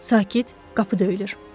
Sakit, qapı döyülür.